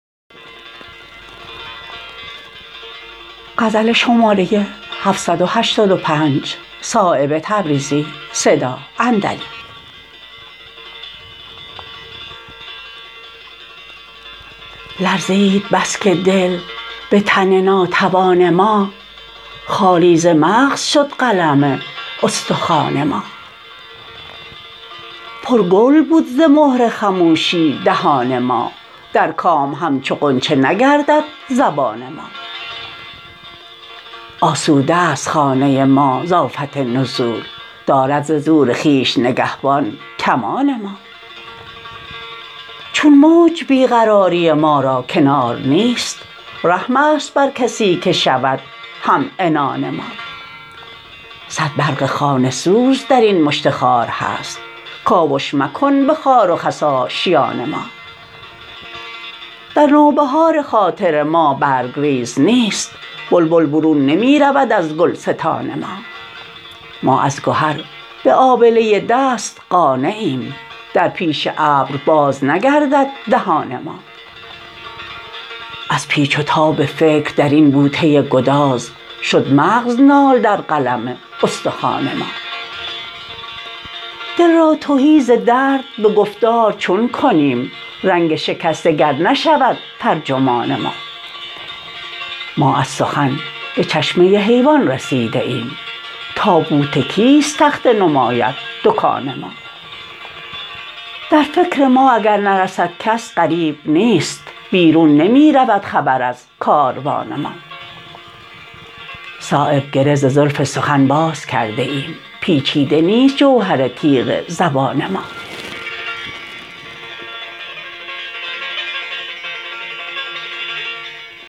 لرزید بس که دل به تن ناتوان ما خالی ز مغز شد قلم استخوان ما پر گل بود ز مهر خموشی دهان ما در کام همچو غنچه نگردد زبان ما آسوده است خانه ما ز آفت نزول دارد ز زور خویش نگهبان کمان ما چون موج بی قراری ما را کنار نیست رحم است بر کسی که شود همعنان ما صد برق خانه سوز درین مشت خار هست کاوش مکن به خار و خس آشیان ما در نوبهار خاطر ما برگریز نیست بلبل برون نمی رود از گلستان ما ما از گهر به آبله دست قانعیم در پیش ابر باز نگردد دهان ما از پیچ و تاب فکر درین بوته گداز شد مغز نال در قلم استخوان ما دل را تهی ز درد به گفتار چون کنیم رنگ شکسته گر نشود ترجمان ما ما از سخن به چشمه حیوان رسیده ایم تابوت کیست تخته نماید دکان ما در فکر ما اگر نرسد کس غریب نیست بیرون نمی رود خبر از کاروان ما صایب گره ز زلف سخن باز کرده ایم پیچیده نیست جوهر تیغ زبان ما